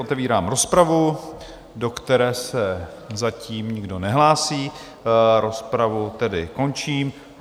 Otevírám rozpravu, do které se zatím nikdo nehlásí, rozpravu tedy končím.